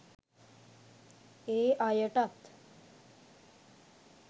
ඒ අයටත්